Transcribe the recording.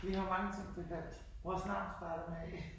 Vi har mange ting tilfælles. Vores navn starter med A